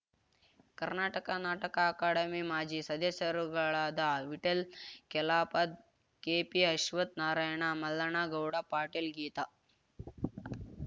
ಕರ್ನಾಟಕ ನಾಟಕ ಅಕಾಡೆಮಿ ಮಾಜಿ ಸದಸ್ಯರುಗಳಾದ ವಿಠಲ್ ಕೆಲಾಪದ್ ಕೆಪಿಅಶ್ವಥ್ ನಾರಾಯಣ ಮಲ್ಲಣ್ಣ ಗೌಡ ಪಾಟೀಲ್ ಗೀತಾ